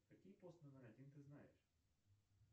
какие пост номер один ты знаешь